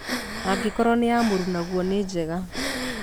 Angĩkorũo nĩ ya mũrunaguo nĩ njega.